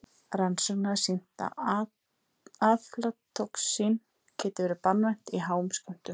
Rannsóknir hafa sýnt að aflatoxín getur verið banvænt í háum skömmtum.